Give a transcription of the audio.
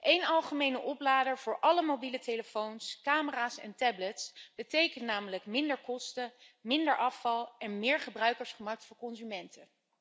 Eén algemene oplader voor alle mobiele telefoons, camera's en tablets betekent namelijk minder kosten, minder afval en meer gebruikersgemak voor consumenten.